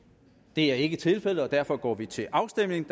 det er ikke tilfældet og derfor går vi til afstemning